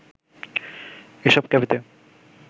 এসব ক্যাফেতে